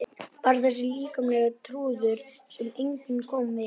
Bara þessi líkamlegi trúnaður sem engum kom við.